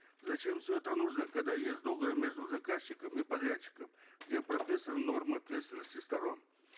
зачем все это нужно когда есть договор между заказчиком и подрядчиком где прописаны нормы ответственности сторон